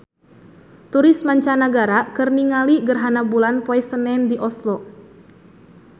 Turis mancanagara keur ningali gerhana bulan poe Senen di Oslo